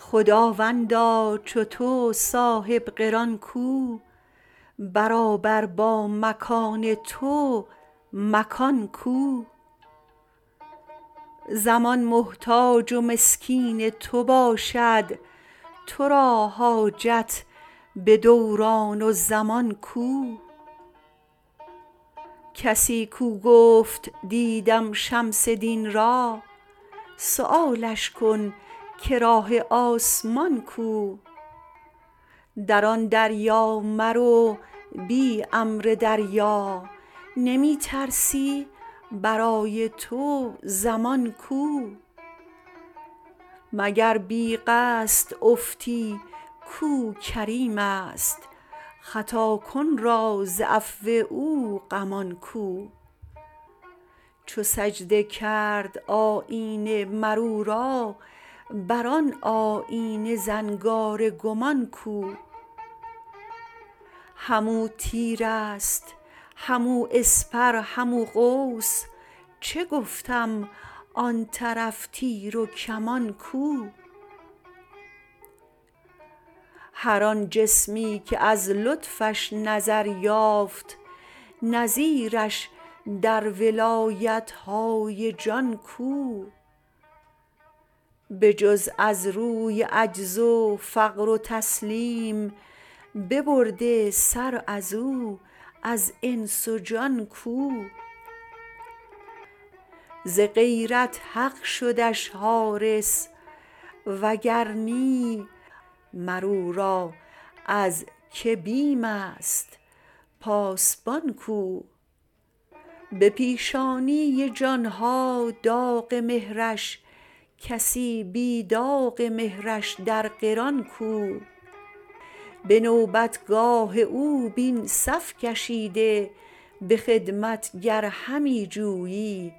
خداوندا چو تو صاحب قران کو برابر با مکان تو مکان کو زمان محتاج و مسکین تو باشد تو را حاجت به دوران و زمان کو کسی کو گفت دیدم شمس دین را سؤالش کن که راه آسمان کو در آن دریا مرو بی امر دریا نمی ترسی برای تو ضمان کو مگر بی قصد افتی کو کریم است خطاکن را ز عفو او غمان کو چو سجده کرد آیینه مر او را بر آن آیینه زنگار گمان کو همو تیر است همو اسپر همو قوس چه گفتم آن طرف تیر و کمان کو هر آن جسمی که از لطفش نظر یافت نظیرش در ولایت های جان کو بجز از روی عجز و فقر و تسلیم ببرده سر از او از انس و جان کو ز غیرت حق شد حارس و گر نی مر او را از کی بیم است پاسبان کو به پیشانی جان ها داغ مهرش کسی بی داغ مهرش در قران کو به نوبتگاه او بین صف کشیده به خدمت گر همی جویی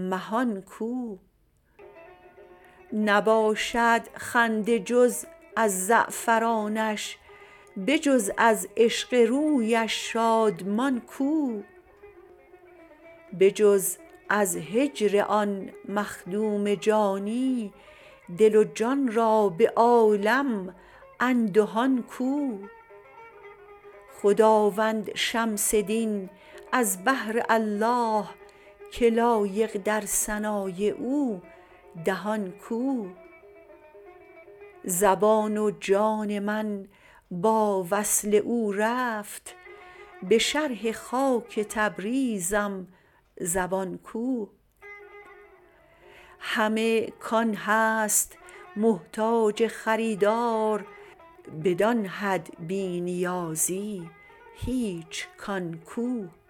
مهان کو نباشد خنده جز از زعفرانش بجز از عشق رویش شادمان کو بجز از هجر آن مخدوم جانی دل و جان را به عالم اندهان کو خداوند شمس دین از بهر الله که لایق در ثنای او دهان کو زبان و جان من با وصل او رفت به شرح خاک تبریزم زبان کو همه کان هست محتاج خریدار بدان حد بی نیازی هیچ کان کو